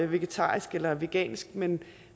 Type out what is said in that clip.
vegetarisk eller vegansk men